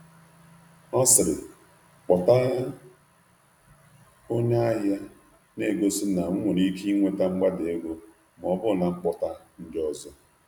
Ọ sịrị, “kpọta onye ahịa,” na-egosi na m nwere ike inweta mgbada ego ma ọ bụrụ na m kpọta ndị ọzọ.